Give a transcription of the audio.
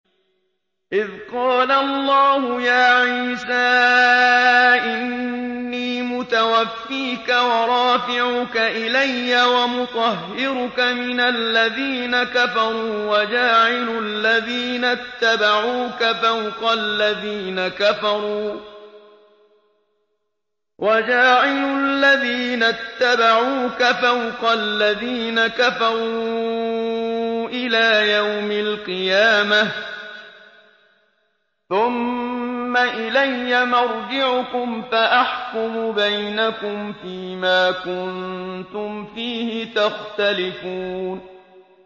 إِذْ قَالَ اللَّهُ يَا عِيسَىٰ إِنِّي مُتَوَفِّيكَ وَرَافِعُكَ إِلَيَّ وَمُطَهِّرُكَ مِنَ الَّذِينَ كَفَرُوا وَجَاعِلُ الَّذِينَ اتَّبَعُوكَ فَوْقَ الَّذِينَ كَفَرُوا إِلَىٰ يَوْمِ الْقِيَامَةِ ۖ ثُمَّ إِلَيَّ مَرْجِعُكُمْ فَأَحْكُمُ بَيْنَكُمْ فِيمَا كُنتُمْ فِيهِ تَخْتَلِفُونَ